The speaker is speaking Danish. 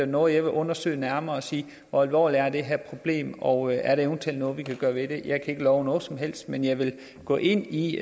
noget jeg vil undersøge nærmere og sige hvor alvorligt er det her problem og er der eventuelt noget vi kan gøre ved det jeg kan ikke love noget som helst men jeg vil gå ind i